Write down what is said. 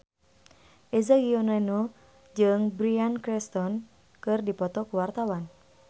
Eza Gionino jeung Bryan Cranston keur dipoto ku wartawan